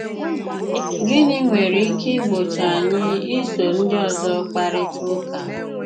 Gịnị nwere ike ìgbòchị́ anyị ísò ndị ọzọ́ kparịta ụka?